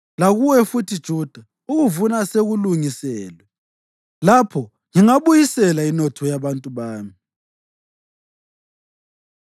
Lakuwe futhi Juda, ukuvuna sekulungiselwe. Lapho ngingabuyisela inotho yabantu bami.